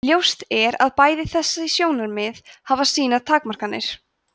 ljóst er að bæði þessi sjónarmið hafa sínar takmarkanir